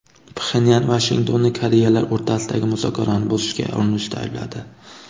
Pxenyan Vashingtonni Koreyalar o‘rtasidagi muzokarani buzishga urinishda aybladi.